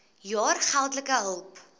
jaar geldelike hulp